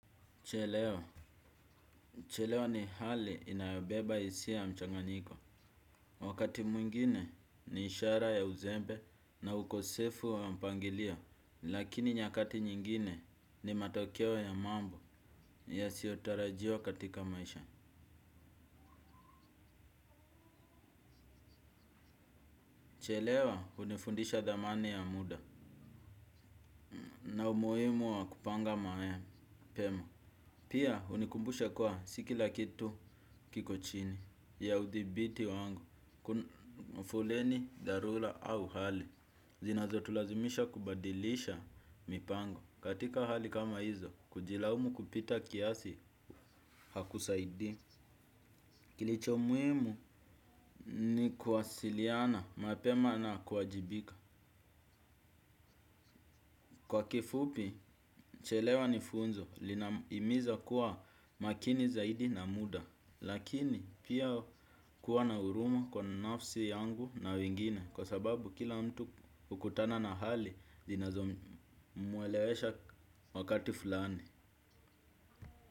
Chelewa, chelewa ni hali inayobeba hisia ya mchanganyiko. Wakati mwingine ni ishara ya uzembe na ukosefu wa mpangilio, lakini nyakati nyingine ni matokeo ya mambo yasiotarajiwa katika maisha. Chelewa, unifundisha dhamani ya muda na umuhimu wa kupanga maa ya pema. Pia hunikumbusha kuwa si kila kitu kiko chini ya udhibiti wangu, mafoleni, dharula au hali. Zinazo tulazimisha kubadilisha mipango. Katika hali kama hizo, kujilaumu kupita kiasi hakusaidi. Kilicho muhimu ni kuwasiliana mapema na kuajibika. Kwa kifupi, chelewa ni funzo, lina himiza kuwa makini zaidi na muda. Lakini pia kuwa na huruma kwa nafsi yangu na wengine. Kwa sababu kila mtu hukutana na hali, zinazo muelewesha wakati fulani.